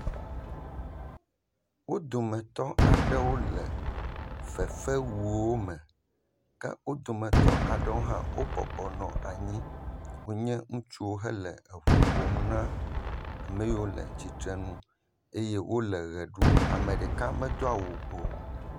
Wo dometɔ aɖewo le fefewuwo me. Ke wo dometɔ aɖewo hã wo bɔbɔnɔ anyi. Wonye ŋutsuwo hele eŋu ƒom na ameyiwo le tsitre nu eye wo ʋe ɖum. Ame ɖeka medo awu o.